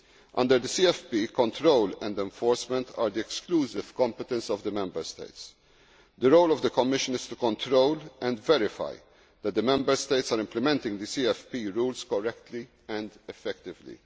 Under the CFP, control and enforcement are the exclusive competence of the Member States. The role of the Commission is to control and verify that the Member States are implementing the CFP rules correctly and effectively.